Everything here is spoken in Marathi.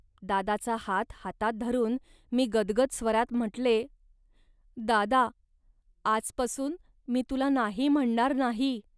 दादाचा हात हातात धरून मी गदगद स्वरात म्हटले "दादा. आजपासून मी तुला 'नाही' म्हणणार नाही